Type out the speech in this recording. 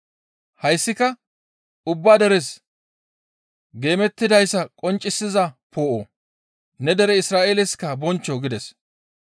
Hayssika ubba deres geemettidayssa qonccisiza poo7o; ne dere Isra7eelesikka bonchcho» gides.